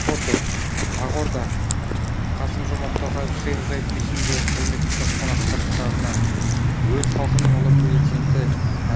фото ақордақасым жомарт тоқаев шейх заид мешітіндегі құрметті қонақтар кітабына өз халқының ұлы перзенті